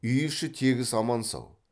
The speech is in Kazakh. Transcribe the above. үй іші тегіс аман сау